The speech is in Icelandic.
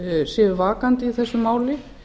séu vakandi í þessu máli